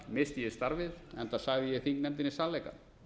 missti ég starfið enda sagði ég þingnefndinni sannleikann